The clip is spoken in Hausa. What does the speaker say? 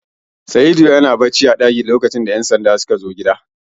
Saidu na bacci a ɗakina a lokacin da ƴan sanda sukazo gidan